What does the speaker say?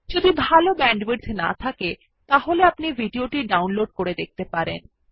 যদি ভাল ব্যান্ডউইডথ না থাকে তাহলে আপনি ভিডিও টি ডাউনলোড করে দেখতে পারেন